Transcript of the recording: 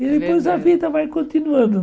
E depois a vida vai continuando.